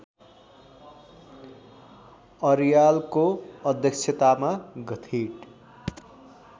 अर्यालको अध्यक्षतामा गठित